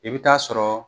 I bɛ taa sɔrɔ